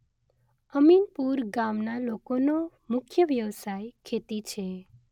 અમીનપુર ગામના લોકોનો મુખ્ય વ્યવસાય ખેતી છે